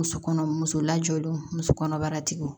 Muso kɔnɔ muso lajɔlen muso kɔnɔbara tigiw